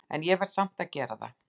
En ég verð samt að gera það.